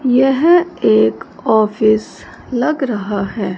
यह एक ऑफिस लग रहा है।